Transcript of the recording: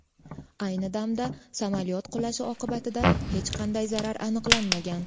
Ayni damda samolyot qulashi oqibatida hech qanday zarar aniqlanmagan.